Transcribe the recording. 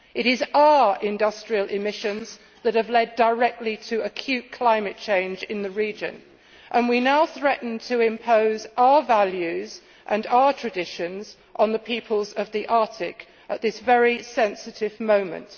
It is our industrial emissions that have led directly to acute climate change in the region, and we now threaten to impose our values and our traditions on the peoples of the Arctic at this very sensitive moment.